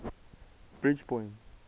bridgepoint